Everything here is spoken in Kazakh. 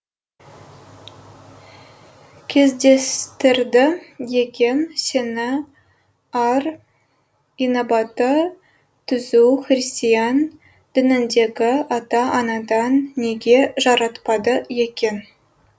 кездестірді екен сені ар инабаты түзу христиан дініндегі ата анадан неге жаратпады екен